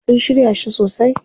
Sun shirya shi sosai.